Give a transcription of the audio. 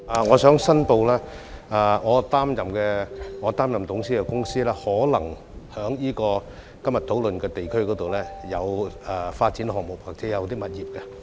我申報，我擔任董事的公司可能在今天討論的地區擁有發展項目或物業。